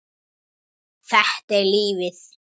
Þetta er lífið.